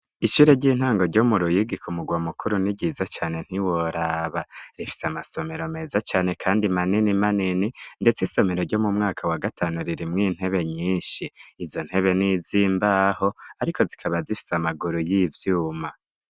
Ishure ry'intango ryo mu ruyigiko mugwa mukuru ni ryiza cane ntiworaba rifise amasomero meza cane, kandi manini manini, ndetse isomero ryo mu mwaka wa gatanu ririmwo intebe nyinshi izo ntebe n'izimbaho, ariko zikaba zifise amaguru y'ivyuma.